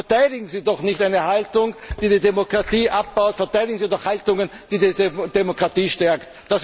Verteidigen Sie doch nicht eine Haltung, die die Demokratie abbaut! Verteidigen Sie doch Haltungen, die die Demokratie stärken.